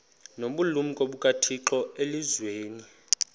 nobulumko bukathixo elizwini